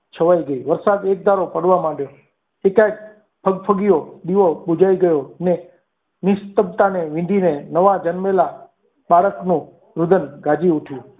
છવાઈ ગઈ વરસાદ એકધારો પડવા માંડ્યો તે કંઈક ફગ ફગ્યો દીવો બુજાઈ ગયો ની શ્રદ્ધાની નિધિને નવા જન્મેલા બાળકનું રુદન ગાજે ઉઠયું.